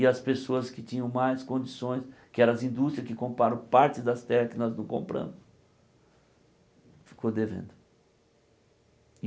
E as pessoas que tinham mais condições, que eram as indústrias que compraram partes das terras que nós não compramos, ficou devendo.